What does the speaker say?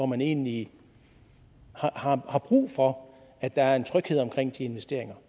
man egentlig har brug for at der er tryghed omkring de investeringer